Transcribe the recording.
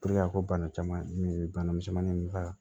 a ko bana caman min bana misɛnnin ninnu ka